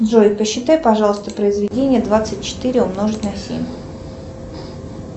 джой посчитай пожалуйста произведение двадцать четыре умножить на семь